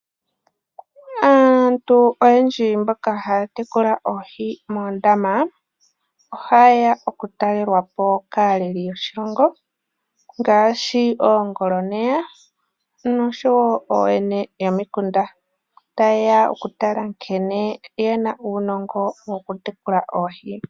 Aantu oyendji mboka haya tekula oohi moondama, oha yeya oku ta lelwa po kaaleli yoshilongo ngaashi oongoloneya nosho wo ooyene yomikunda ta yeya oku tala nkene ye na uunongo woku tekula oohi.